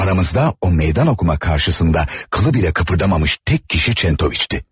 Aramızda o meydan oxuma qarşısında qılı belə qıpırdamamış tək şəxs Kentoviç idi.